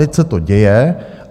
Teď se to děje.